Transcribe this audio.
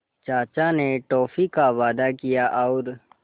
चाचा ने टॉफ़ी का वादा किया और